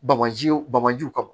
Bamajiw bamanjiw kama